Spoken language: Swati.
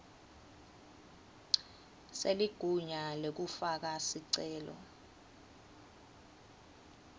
seligunya lekufaka sicelo